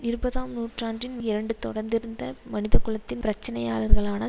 இருபதாம் நூற்றாண்டின் இரண்டு தொடர்ந்திருந்த மனிதகுலத்தின் பிரச்சினையாளர்களான